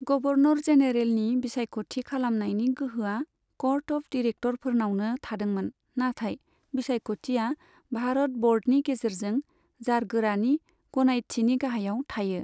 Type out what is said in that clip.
Governor जेनेरेलनि बिसायख'थि खालामनायनि गोहोआ कर्ट अफ दिरेक्टरफोरनावनो थादोंमोन, नाथाय बिसायख'थिया भारत बर्डनि गेजेरजों जारगोरानि गनायथिनि गाहायाव थायो।